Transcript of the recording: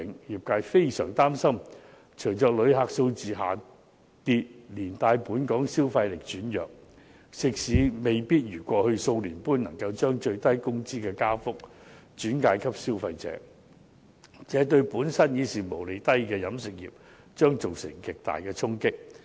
業界非常擔心，隨着旅客數字下跌，連帶本港消費力轉弱，食肆未必如過去數年般能夠將最低工資的加幅轉嫁消費者，這對本身毛利已低的飲食業將造成極大衝擊。